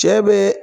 Cɛ bɛ